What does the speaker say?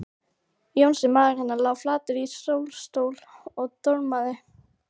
Jónsi, maðurinn hennar, lá flatur í sólstól og dormaði.